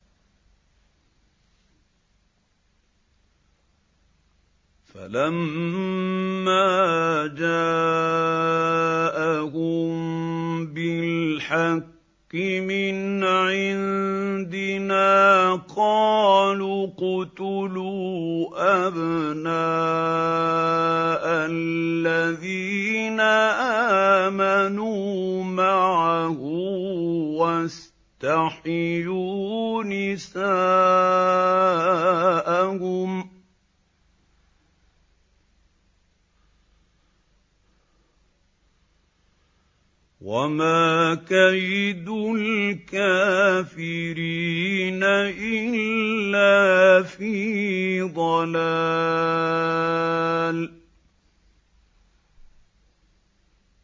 فَلَمَّا جَاءَهُم بِالْحَقِّ مِنْ عِندِنَا قَالُوا اقْتُلُوا أَبْنَاءَ الَّذِينَ آمَنُوا مَعَهُ وَاسْتَحْيُوا نِسَاءَهُمْ ۚ وَمَا كَيْدُ الْكَافِرِينَ إِلَّا فِي ضَلَالٍ